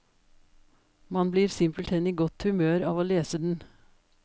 Man blir simpelthen i godt humør av å lese den.